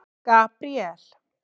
Gabríel